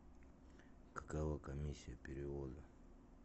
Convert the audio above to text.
какова комиссия перевода